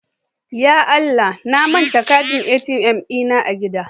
Ya Allah!, na manta katin ATM dina a gida.